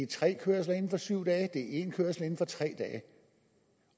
tre kørsler inden for syv dage det er én kørsel inden for tre dage